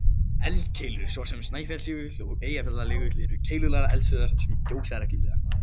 Eldkeilur, svo sem Snæfellsjökull og Eyjafjallajökull, eru keilulaga eldstöðvar sem gjósa reglulega.